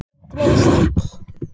Ekki beint minn stíll.